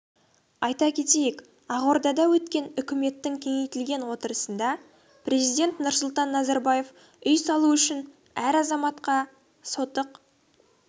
айта кетейік ақордада өткен үкіметтің кеңейтілген отырысында президент нұрсұлтан назарбаев үй салу үшін әр азаматқа сотық